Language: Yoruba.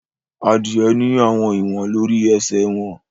Adie ní àwọn ìwọn lórí esè wón.